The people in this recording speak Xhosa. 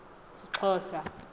sixhosa